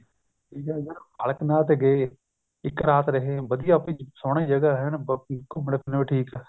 ਠੀਕ ਆ ਫੇਰ ਬਾਲਕ ਨਾਥ ਗਏ ਇੱਕ ਰਾਤ ਰਹੇ ਵਧੀਆ ਸੋਹਣੀ ਜਗ੍ਹਾ ਏਨ ਘੁੰਮਣ ਫਿਰਨ ਨੂੰ ਵੀ ਠੀਕ ਸੀ